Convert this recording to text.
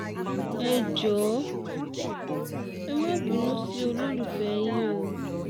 ẹ jọ̀ọ́ ẹ má bínú sí olólùfẹ́ yín o